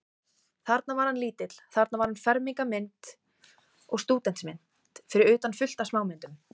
Þarna var hann lítill, þarna var fermingarmynd og stúdentsmynd, fyrir utan fullt af smámyndum.